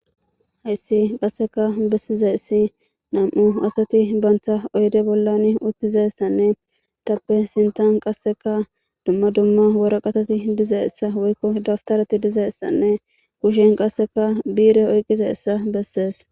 hayssi qasseka bessizayssi nam'u asati banta oyde bollan uttizayssanne etappe sintan qasseka dumma dumma woraqatati dizayssa woykko dabtarati dizaysanne kushen qasseka bi'ire oyqqizaysa beses.